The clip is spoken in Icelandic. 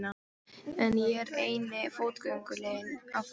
En ég er eini fótgönguliðinn á ferð.